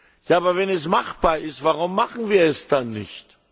Ja, aber wenn es machbar ist, warum machen wir es dann nicht?